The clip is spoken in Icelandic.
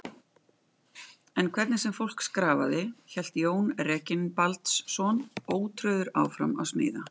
En hvernig sem fólk skrafaði, hélt Jón Reginbaldsson ótrauður áfram að smíða.